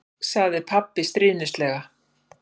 sagði pabbi stríðnislega.